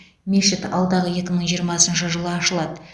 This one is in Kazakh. мешіт алдағы екі мың жиырмасыншы жылы ашылады